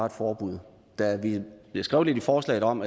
et forbud der bliver skrevet lidt i forslaget om